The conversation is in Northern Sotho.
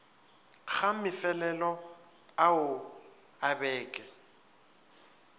ga mefelelo ao a beke